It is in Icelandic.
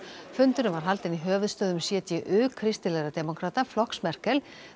fundurinn var haldinn í höfuðstöðvum CDU kristilegra demókrata flokks Merkel